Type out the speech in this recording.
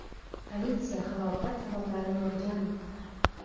Politsiya halokat sabablarini o‘rganmoqda.